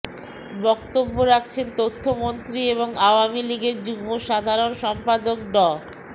বক্তব্য রাখছেন তথ্যমন্ত্রী এবং আওয়ামী লীগের যুগ্ম সাধারণ সম্পাদক ড